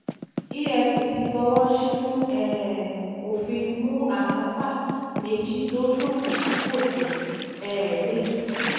efcc fọwọ́ ṣìnkùn um òfin mú àáfàá méjì tó ṣoògùn tí kò jẹ́ um lẹ́kìtì